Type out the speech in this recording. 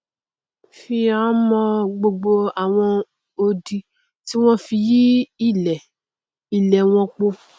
fi n mọn gbogbo àwọn odi tí wọn fi yí ilẹ ilẹ ẹ wọn po